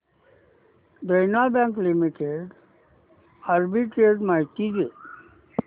देना bank limited arbitrage माहिती दे